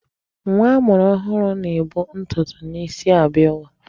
Nwa amụrụ ọhụrụ na-ebu ntụtụ n'isi abịa ụwa.